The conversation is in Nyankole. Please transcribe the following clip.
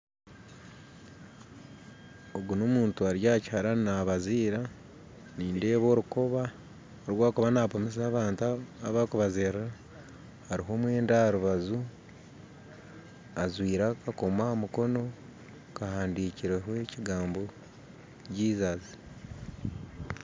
Ogu n'omuntu ari aha kiharani nabaziira nindeeba orukoba oru arikuba napimisa abantu abu arikubazirira hariho omwenda aha rubaju ajwaire akakomo aha mukono kahandikirweho ekigambo Jesus .